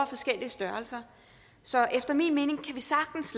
forskellig størrelse så efter min mening kan vi sagtens